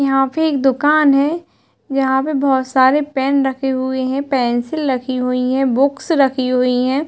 यहाँ पे एक दुकान है। यहाँ पे बहोत सारे पेन रखे हुए हैं पेंसिल रखी हुईं हैं बुक्स रखी हुईं हैं।